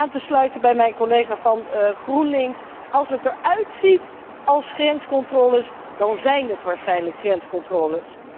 Dus om aan te sluiten bij mijn collega van GroenLinks als het eruitziet als grenscontroles, dan zíjn het waarschijnlijk grenscontroles.